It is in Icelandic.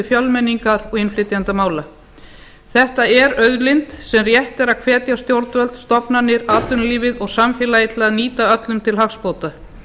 fjölmenningar og innflytjendamála þetta er auðlind sem rétt er að hvetja stjórnvöld stofnanir atvinnulíf og samfélagið til að nýta öllum til hagsbóta